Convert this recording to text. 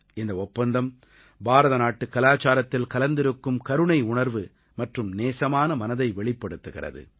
இந்த ஒப்பந்தம் பாரதநாட்டு கலாச்சாரத்தில் கலந்திருக்கும் கருணை உணர்வு மற்றும் நேசமான மனதை வெளிப்படுத்துகிறது